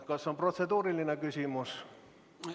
Kas on protseduuriline küsimus?